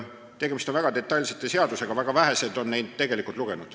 Tegemist on väga detailsete seadustega ja väga vähesed on neid tegelikult lugenud.